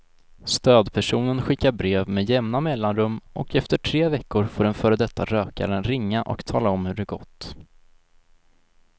Stödpersonen skickar brev med jämna mellanrum och efter tre veckor får den före detta rökaren ringa och tala om hur det gått.